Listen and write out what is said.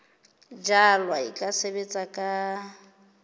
jalwa e ka sebetswa ka